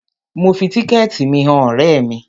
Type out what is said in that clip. Mo fi tíkẹ̀ẹ̀tì mi han ọ̀rẹ́ mi.